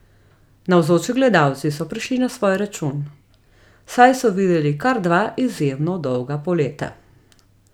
Navzoči gledalci so prišli na svoj račun, saj so videli kar dva izjemno dolga poleta.